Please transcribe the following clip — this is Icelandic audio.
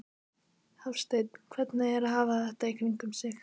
Hafsteinn: Hvernig er að hafa þetta í kringum sig?